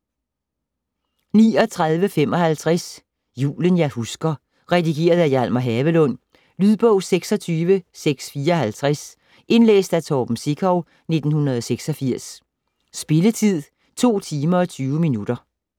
39.55 Julen jeg husker Redigeret af Hjalmar Havelund Lydbog 26654 Indlæst af Torben Sekov, 1986. Spilletid: 2 timer, 20 minutter.